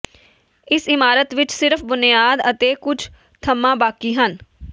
ਇਸ ਇਮਾਰਤ ਵਿਚ ਸਿਰਫ ਬੁਨਿਆਦ ਅਤੇ ਕੁਝ ਥੰਮ੍ਹਾਂ ਬਾਕੀ ਹਨ